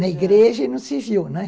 Na igreja e no civil, né?